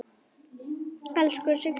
Elsku Signý mín.